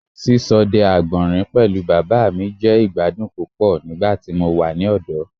Ṣiṣọdẹ agbọnrin pẹlu baba mi jẹ igbadun pupọ nigbati mo wa ni ọdọ